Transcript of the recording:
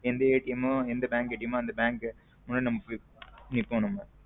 எந் மோ எந்த bank முன்னாடி பொய் நிப்போம் நம்ம.